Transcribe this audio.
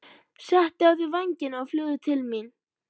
Settu á þig vængina og fljúgðu til mín.